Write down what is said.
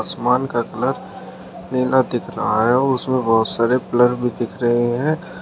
आसमान का कलर नीला दिख रहा है और उसमें बहुत सारे ब्लर भी दिख रहे हैं।